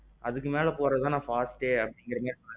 அதுக்கு மேல நான் போறதுதான் fastஎ இன்னும் சொன்னிங்க.